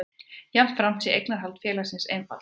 Jafnframt sé eignarhald félagsins einfaldað